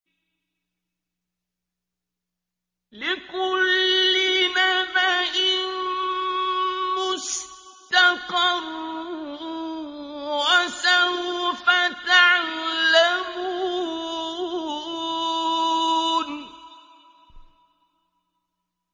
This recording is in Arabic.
لِّكُلِّ نَبَإٍ مُّسْتَقَرٌّ ۚ وَسَوْفَ تَعْلَمُونَ